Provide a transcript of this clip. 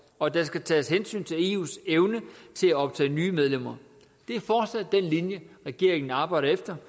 og at der skal tages hensyn til eus evne til at optage nye medlemmer det er fortsat den linje regeringen arbejder efter